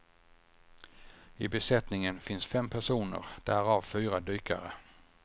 I besättningen finns fem personer, därav fyra dykare.